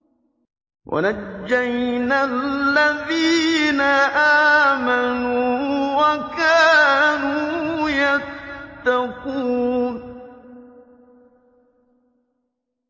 وَنَجَّيْنَا الَّذِينَ آمَنُوا وَكَانُوا يَتَّقُونَ